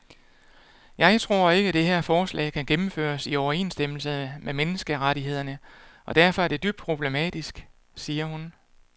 Jeg tror ikke, det her forslag kan gennemføres i overensstemmelse med menneskerettighederne og derfor er det dybt problematisk, siger hun.